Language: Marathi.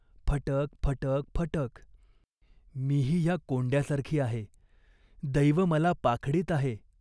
" फटक फटक फटक !" "मीही ह्या कोंड्यासारखी आहे. दैव मला पाखडीत आहे.